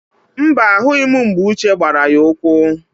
Mba, ahụghị m mgbe Uche gbara ya ụkwụ